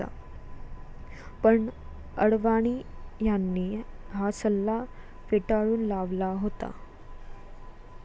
पण अडवाणी यांनी हा सल्ला फेटाळून लावला होता.